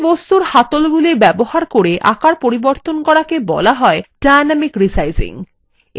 একটি বস্তুর হ্যান্ডলগুলি ব্যবহার করে আকার পরিবর্তন করাকে বলা হয় dynamic resizing